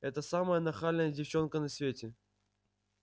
это самая нахальная девчонка на свете